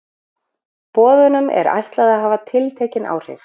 Boðunum er ætlað að hafa tiltekin áhrif.